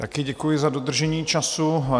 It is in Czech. Také děkuji za dodržení času.